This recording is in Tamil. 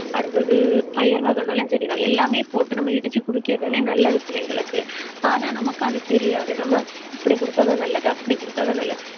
அடுத்தது பயிர் வகைனாலும் சரிதான். எல்லாமே போட்டு நம்ம இடிச்சு குடிக்கிறதுதானே நல்லது பிள்ளைங்களுக்கு ஆனால், நமக்கு அது தெரியாது நம்ம இப்படி கொடுத்தால்தான் நல்லது. அப்படி கொடுத்தால்தான் நல்லது.